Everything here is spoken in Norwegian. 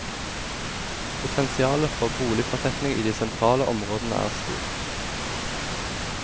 Potensialet for boligfortetning i de sentrale områdene er stort.